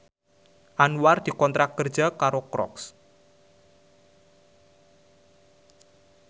Anwar dikontrak kerja karo Crocs